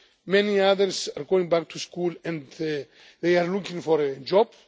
Many others are going back to school and are looking for a